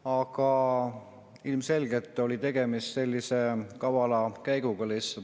Aga ilmselgelt oli tegemist lihtsalt kavala käiguga.